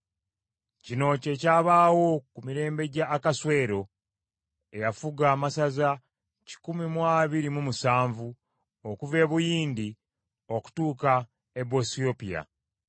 Kino kye kyabaawo ku mirembe gya Akaswero, eyafuga amasaza kikumi mu abiri mu musanvu (127) okuva e Buyindi okutuuka e Buwesiyopya.